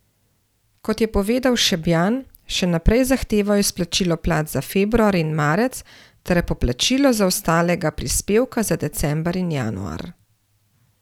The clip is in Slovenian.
Kot je povedal Šabjan, še naprej zahtevajo izplačilo plač za februar in marec ter poplačilo zaostalega prispevka za december in januar.